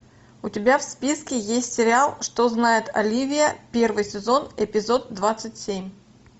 у тебя в списке есть сериал что знает оливия первый сезон эпизод двадцать семь